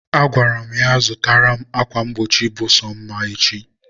agwara m ya zụtara m akwa mgbochi bụ sọ mma echi.